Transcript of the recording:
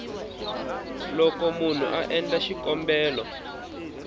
loko munhu a endla xikombelo